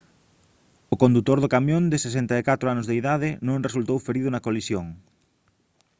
o condutor do camión de 64 anos de idade non resultou ferido na colisión